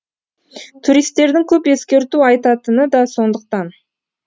туристердің көп ескерту айтатыны да сондықтан